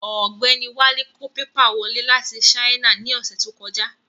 Ọ̀gbẹ́ni Wálé kó pépà wọlé láti Sáínà ní ọ̀sẹ̀ tó kọjá